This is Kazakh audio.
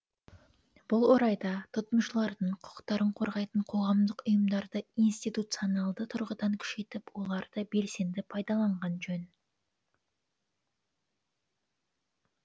бұл орайда тұтынушылардың құқықтарын қорғайтын қоғамдық ұйымдарды институционалды тұрғыдан күшейтіп оларды белсенді пайдаланған жөн